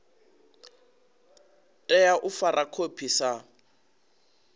tea u fara khophi sa